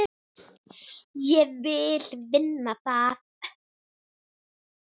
Ég vill vinna það.